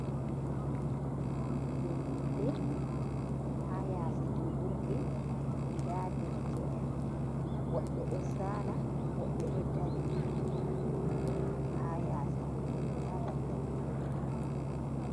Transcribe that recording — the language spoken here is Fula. ha yase julurde da derakeen woɓbe do sala wobbe do dari ha daldal jolurde